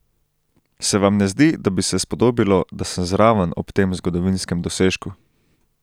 Se vam ne zdi, da bi se spodobilo, da sem zraven ob tem zgodovinskem dosežku?